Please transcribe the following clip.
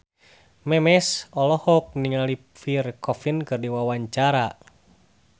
Memes olohok ningali Pierre Coffin keur diwawancara